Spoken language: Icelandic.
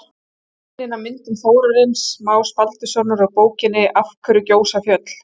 Sýningin á myndum Þórarins Más Baldurssonar úr bókinni Af hverju gjósa fjöll?